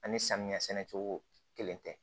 Ani samiya sɛnɛ cogo kelen tɛ